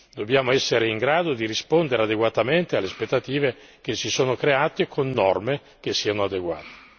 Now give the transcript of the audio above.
Dobbiamo essere in grado di rispondere adeguatamente alle aspettative che si sono create con norme che siano adeguate.